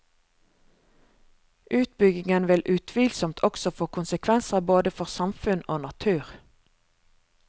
Utbyggingen vil utvilsomt også få konsekvenser både for samfunn og natur.